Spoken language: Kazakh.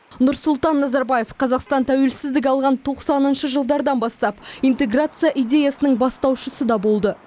нұрсұлтан назарбаев қазақстан тәуелсіздік алған тоқсаныншы жылдардан бастап интеграция идеясының бастаушысы да болды